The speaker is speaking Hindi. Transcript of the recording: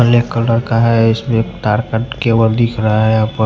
ब्लैक कलर का है इसमें तार का केबल दिख रहा है।